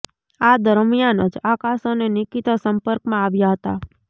આ દરમિયાન જ આકાશ અને નિકીતા સંપર્કમાં આવ્યા હતા